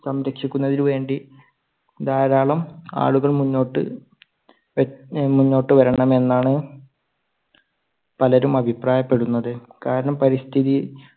സംരക്ഷിക്കുന്നതിനു വേണ്ടി ധാരാളം ആളുകൾ മുന്നോട്ട് ആ മുന്നോട്ട് വരണമെന്നാണ് പലരും അഭിപ്രായപ്പെടുന്നത്. കാരണം പരിസ്ഥിതി